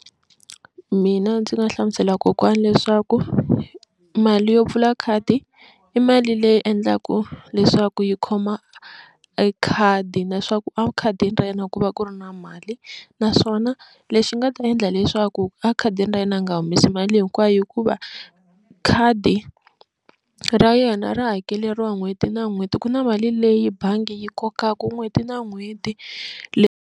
Mina ndzi nga hlamusela kokwana leswaku mali yo pfula khadi i mali leyi endlaka leswaku yi khoma e khadi na swaku a khadini ra yena ku va ku ri na mali naswona lexi nga ta endla leswaku a khadini ra yena a nga humesi mali hinkwayo hikuva khadi ra yena ra hakeleriwa n'hweti na n'hweti ku na mali leyi bangi yi kokaku n'hweti na n'hweti .